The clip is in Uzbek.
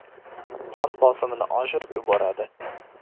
Qon bosimini oshirib yuboradi.